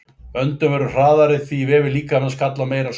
Öndun verður hraðari því vefir líkamans kalla á meira súrefni.